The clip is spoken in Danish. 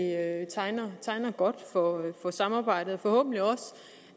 tegner godt for for samarbejdet forhåbentlig